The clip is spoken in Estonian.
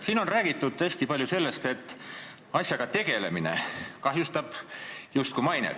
Siin on hästi palju räägitud sellest, et selle asjaga tegelemine kahjustab justkui mainet.